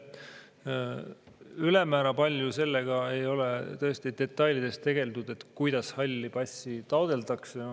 Ülemäära palju sellega, kuidas halli passi taotletakse, ei ole tõesti detailides tegeldud.